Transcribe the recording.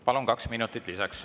Palun, kaks minutit lisaks.